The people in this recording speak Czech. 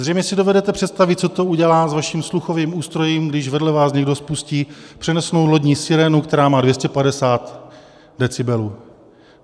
Zřejmě si dovedete představit, co to udělá s vaším sluchovým ústrojím, když vedle vás někdo spustí přenosnou lodní sirénu, která má 250 decibelů.